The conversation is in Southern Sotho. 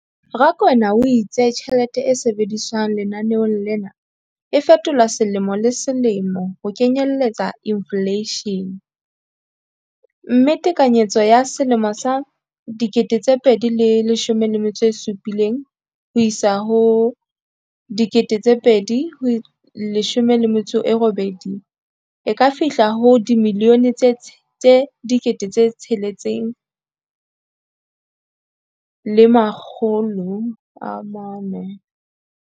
Rakwena o itse tjhelete e sebediswang lenaneong lena e fetolwa selemo le selemo ho kenyelletsa infleishene, mme tekanyetso ya 2017 le 18 e ka fihla ho R6.4 bilione.